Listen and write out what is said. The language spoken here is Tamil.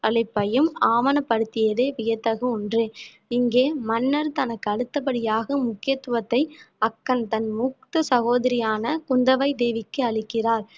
அளிப்பையும் ஆவணப்படுத்தியதே வியத்தகு ஒன்று இங்கே மன்னர் தனக்கு அடுத்தபடியாக முக்கியத்துவத்தை அக்கன் தன் மூத்த சகோதரியான குந்தவை தேவிக்கு அளிக்கிறார்